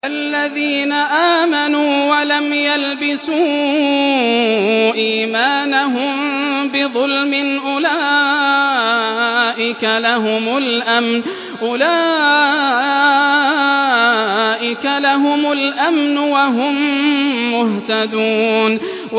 الَّذِينَ آمَنُوا وَلَمْ يَلْبِسُوا إِيمَانَهُم بِظُلْمٍ أُولَٰئِكَ لَهُمُ الْأَمْنُ وَهُم مُّهْتَدُونَ